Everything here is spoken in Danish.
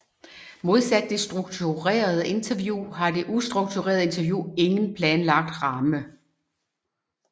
Modsat det strukturerede interview har det ustrukturerede interview ingen planlagt ramme